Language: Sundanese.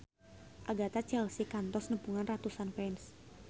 Agatha Chelsea kantos nepungan ratusan fans